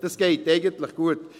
Das geht eigentlich gut.